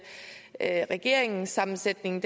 at regeringssammensætningen